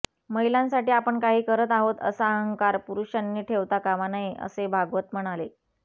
महिलांसाठी आपण काही करत आहोत असा अहंकार पुरुषांनी ठेवता कामा नये असे भागवत म्हणाले